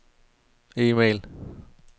e-mail